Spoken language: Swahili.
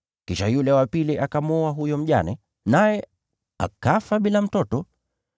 Kisha yule wa pili akamwoa huyo mjane, naye akafa bila mtoto,